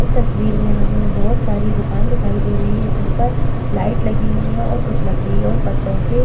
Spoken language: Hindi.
इस तस्वीर में हमें बहोत सारी दुकान दिखाई दे रही हैं जिन पर लाइट लगी हुई हैं और कुछ लकड़ी और पत्तों के --